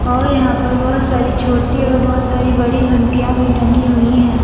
और यहां पर बहुत सारी छोटी और बहुत सारी बड़ी घंटियां भी टंगी हुई हैं।